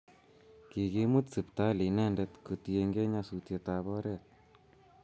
Kikimut sipitali inendet kotienge nyasutiet ab oret